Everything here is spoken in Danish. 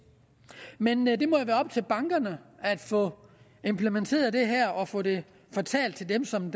men det må jo være op til bankerne at få implementeret det her og få det fortalt til dem som